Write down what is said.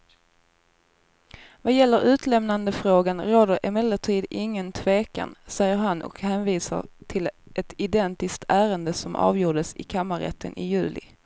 Vad gäller utlämnandefrågan råder det emellertid ingen tvekan, säger han och hänvisar till ett identiskt ärende som avgjordes i kammarrätten i juli.